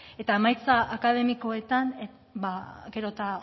eta emaitza akademikoetan ba gero eta